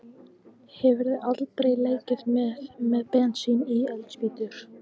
Hefurðu aldrei leikið þér með bensín og eldspýtur?